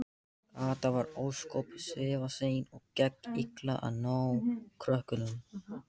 Kata var ósköp svifasein og gekk illa að ná krökkunum.